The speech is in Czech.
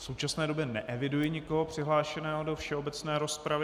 V současné době neeviduji nikoho přihlášeného do všeobecné rozpravy.